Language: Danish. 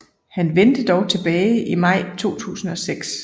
Han vendte dog tilbage i maj 2006